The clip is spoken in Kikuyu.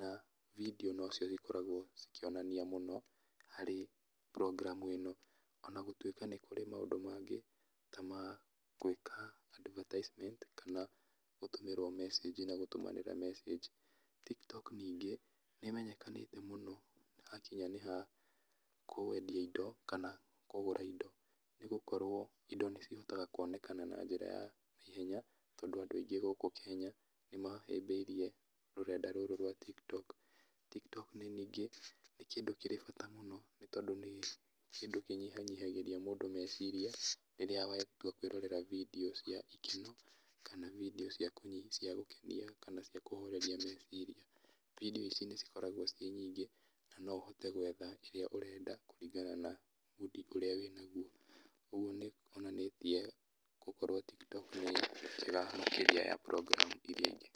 na bindiũ nocio igĩkoragwo cikĩonanania mũno harĩ program ĩno, ona gũtuĩka nĩ kũrĩ maũndũ mangĩ ta magwĩka advertisement kana gũtũmĩrwo mecĩnji na gũtũmanĩra mecĩnji. Tiktok ningĩ, nĩmenyekanĩte mũno, hakinya nĩha kwendia indo, kana kũgũra indo, nĩgũkorwo indo nĩcihotekaga kuonekana na njĩra ya naihenya, tondũ andũ aingĩ gũkũ kenya, nĩmahĩmbĩirie rũrenda rũrũ rwa tiktok, tiktok nĩ ningĩ nĩ kĩndũ kĩrĩ bata mũno, nĩ tondũ nĩ kĩndũ kĩnyihanyihagĩria mũndũ meciria rĩrĩa watua kwĩrorera bindiũ cia ikeno kana bindiũ cia kũnyihia cia gũkenia kana cia kũhoreria meciria, bindiũ ici nĩcikoragwo cirĩ nyingĩ, na noũhote gwetha kĩrĩa ũrenda kũringana na mood ũrĩa wĩnaguo, ũguo nĩkuonanĩtie gũkorwo tiktok nĩ njega makĩria ya Program irĩa ingĩ.